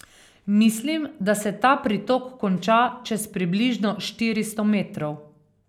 Mislim, da se ta pritok konča čez približno štiristo metrov.